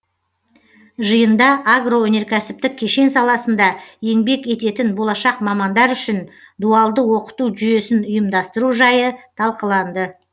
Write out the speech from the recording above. жиында агроөнеркәсіптік кешен саласында еңбек ететін болашақ мамандар үшін дуалды оқыту жүйесін ұйымдастыру жайы талқыланды